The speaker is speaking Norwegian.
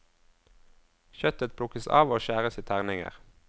Kjøttet plukkes av og skjæres i terninger.